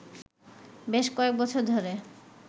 বেশ কয়েক বছর ধরে